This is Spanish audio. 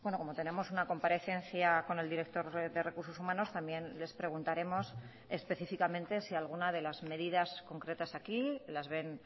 como tenemos una comparecencia con el director de recursos humanos también les preguntaremos específicamente si alguna de las medidas concretas aquí las ven